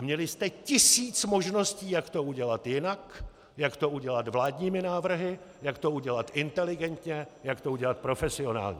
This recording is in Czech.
A měli jste tisíc možností, jak to udělat jinak, jak to udělat vládními návrhy, jak to udělat inteligentně, jak to udělat profesionálně.